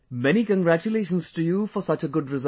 Many congratulations to you for such a good result